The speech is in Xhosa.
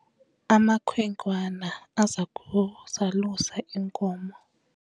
amakhwenkwana aza kuzalusa iinkomo